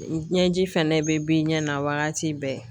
N ɲɛji fɛnɛ bɛ bi ɲɛ na wagati bɛɛ